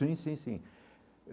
Sim, sim, sim.